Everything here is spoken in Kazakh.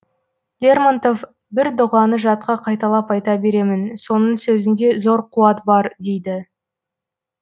лермонтов бір дұғаны жатқа қайталап айта беремін соның сөзінде зор қуат бар дейді